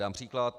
Dám příklad.